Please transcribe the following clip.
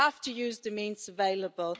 We have to use the means available.